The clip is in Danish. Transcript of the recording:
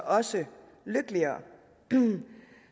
også lykkeligere